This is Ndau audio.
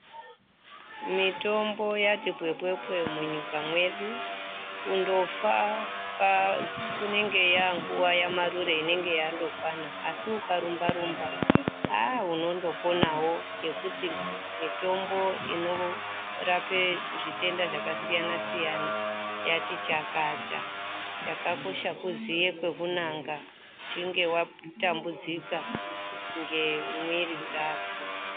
Mitombo yati pwepwepwe munyika mwedu. Kundofa inenge yanguva yamarure inenge yandokwana. Asi ukarumba-rumba aa unondoponavo ngekuti mitombo inorape zvitenda zvakasiyana-siyana yati chakata. Chakakosha kuziye kwekunanga uchinge vatambudzika ngemwiri dzako.